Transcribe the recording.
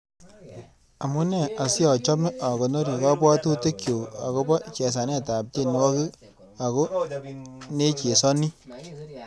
Amune asiachome agonori kabwatutikchuk agoba chesanetab tyenwogik ako nechesani